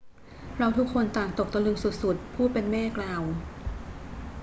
เราทุกคนต่างตกตะลึงสุด ๆ ผู้เป็นแม่กล่าว